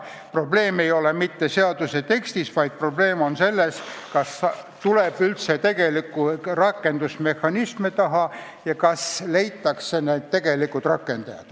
Probleem ei ole mitte seaduse tekstis, vaid selles, kas tuleb tegelikke rakendusmehhanisme taha ja kas leitakse need tegelikud rakendajad.